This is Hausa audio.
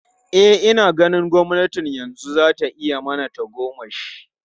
E, ina ganin gwamnatin yanzu za ta yi mana tagomashi.